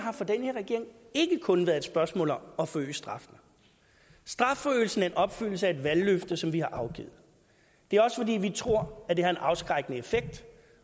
ikke kun været et spørgsmål om at forøge straffen strafforøgelsen er opfyldelsen af et valgløfte som vi har afgivet det er også fordi vi tror det har en afskrækkende effekt